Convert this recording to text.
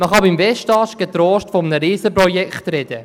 Man kann beim Westast getrost von einem Riesenprojekt reden.